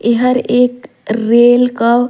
एहर एक रेल का--